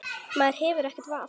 Maður hefur ekkert val.